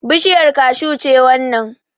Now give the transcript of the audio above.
Bushiyar kashu ce wannan